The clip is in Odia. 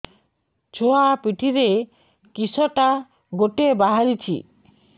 ଛୁଆ ପିଠିରେ କିଶଟା ଗୋଟେ ବାହାରିଛି